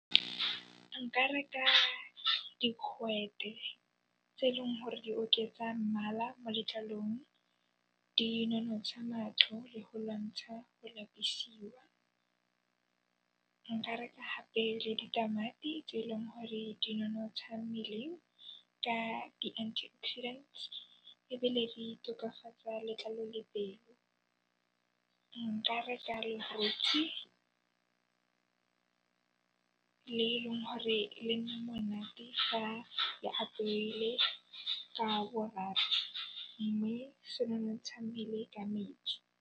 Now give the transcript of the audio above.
Nka reka digwete tse eleng gore di oketsa mmala mo letlalong, di nonotsha matlho le go lwantsha go lapisiwa. Nka reka hape le ditamati tse eleng gore di nonotsha mmele ka di antioxidants ebile di tokafatsa letlalo le pele. Nka reka lephutsi le eleng hore le nna monate fa le apeile ka boraro mme se nonotsha mmele ka metsi.